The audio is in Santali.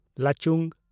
ᱞᱟᱪᱩᱝ